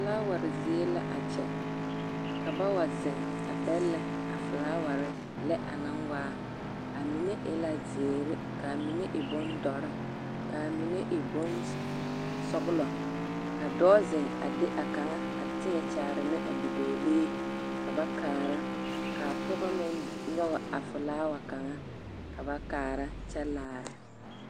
Felaaware zie la a kyɛ ka ba wa zeŋ a bɛllɛ a felaaware lɛ anaŋ waa, amine e na zeere ka amine e bondɔre ka amine e bonsɔgelɔ, ka dɔɔ zeŋ a de a kaŋa a tēɛ kyaare ne a bidɔɔlee ka ba kaara ka a pɔgɔ meŋ nyɔge a felaawa kaŋa ka ba kaara kyɛ laara.